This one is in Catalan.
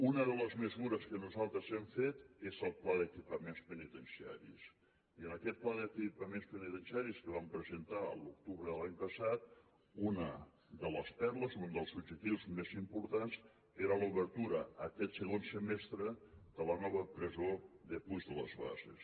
una de les mesures que nosaltres hem fet és el pla d’equipaments penitenciaris i en aquest pla d’equipaments penitenciaris que vam presentar a l’octubre de l’any passat una de les perles un dels objectius més importants era l’obertura aquest segon semestre de la nova presó de puig de les basses